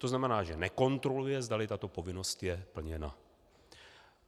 To znamená, že nekontroluje, zdali tato povinnost je plněna.